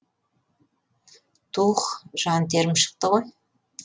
тух жан терім шықты ғой